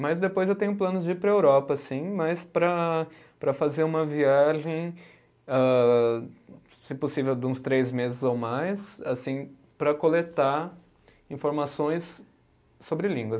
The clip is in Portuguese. Mas depois eu tenho planos de ir para a Europa, sim, mas para para fazer uma viagem, âh, se possível, de uns três meses ou mais, assim para coletar informações sobre línguas.